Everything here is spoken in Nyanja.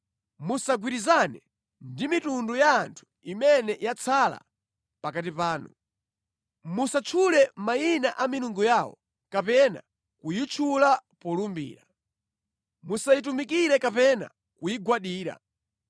Musagwirizane ndi mitundu ya anthu imene yatsala pakati panu. Musatchule mayina a milungu yawo kapena kuyitchula polumbira. Musayitumikire kapena kuyigwadira.